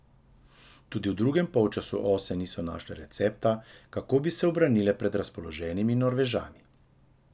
Tudi v drugem polčasu Ose niso našle recepta, kako bi se ubranile pred razpoloženimi Norvežani.